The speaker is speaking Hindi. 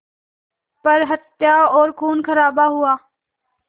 पर हत्याएं और ख़ूनख़राबा हुआ